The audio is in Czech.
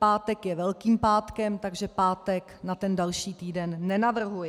Pátek je Velkým pátkem, takže pátek na ten další týden nenavrhuji.